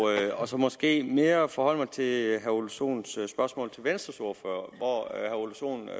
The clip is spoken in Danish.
og så måske mere forholde mig til herre ole sohns spørgsmål til venstres ordfører